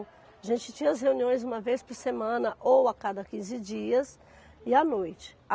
A gente tinha as reuniões uma vez por semana ou a cada quinze dias e à noite.